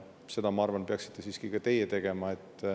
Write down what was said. Seda, ma arvan, peaksite siiski ka teie tegema.